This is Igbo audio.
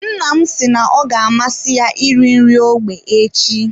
Nna m si na ọ ga amasị ya iri nri ógbè echi.